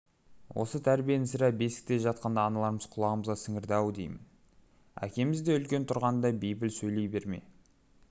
осы тәрбиені сірә бесікте жатқанда аналарымыз құлағымызға сіңірді-ау деймін әкеміз де үлкен тұрғанда бейпіл сөйлей берме